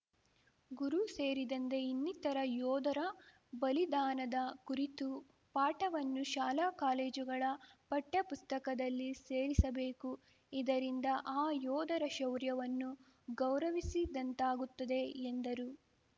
ಗುರು ಸೇರಿದಂದೆ ಇನ್ನಿತರ ಯೋಧರ ಬಲಿದಾನದ ಕುರಿತು ಪಾಠವನ್ನು ಶಾಲಾ ಕಾಲೇಜುಗಳ ಪಠ್ಯ ಪುಸ್ತಕದಲ್ಲಿ ಸೇರಿಸಬೇಕು ಇದರಿಂದ ಆ ಯೋಧರ ಶೌರ್ಯವನ್ನು ಗೌರವಿಸಿದಂತಾಗುತ್ತದೆ ಎಂದರು